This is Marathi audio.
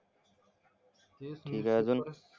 ठीक आहे अजून,